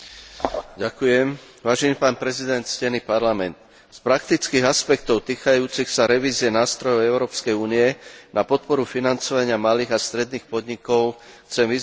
Z praktických aspektov týkajúcich sa revízie nástrojov Európskej únie na podporu financovania malých a stredných podnikov chcem vyzdvihnúť najmä pohľad na problémy externého financovania.